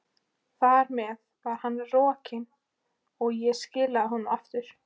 Þar með var hann rokinn, og ég skilaði honum aftur.